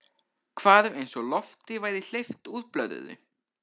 Hvarf eins og lofti væri hleypt úr blöðru.